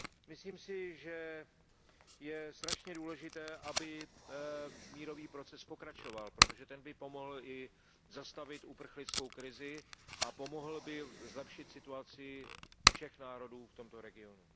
Myslím si, že je strašně důležité, aby mírový proces pokračoval, protože ten by pomohl i zastavit uprchlickou krizi a pomohl by zlepšit situaci všech národů v tomto regionu.